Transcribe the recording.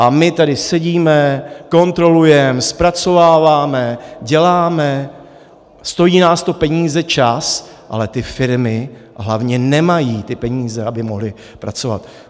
A my tady sedíme, kontrolujeme, zpracováváme, děláme, stojí nás to peníze, čas, ale ty firmy hlavně nemají ty peníze, aby mohly pracovat.